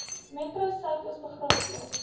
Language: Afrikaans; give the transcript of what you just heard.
metro suidoos begraafplaas